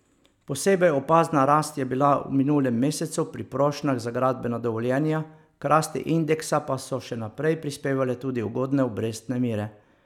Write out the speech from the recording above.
Posebej opazna rast je bila v minulem mesecu pri prošnjah za gradbena dovoljenja, k rasti indeksa pa so še naprej prispevale tudi ugodne obrestne mere.